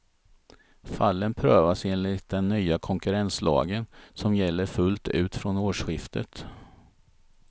Fallen prövas enligt den nya konkurrenslagen, som gäller fullt ut från årsskiftet.